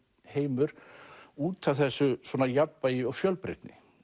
heimur út af þessu svona jafnvægi og fjölbreytni